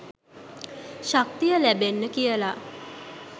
ශක්තිය ලැබෙන්න කියල.